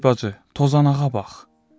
Ay bacı, tozanağa bax.